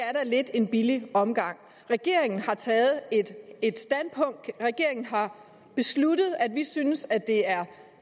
er da lidt en billig omgang regeringen har taget et standpunkt regeringen har besluttet at vi synes at det er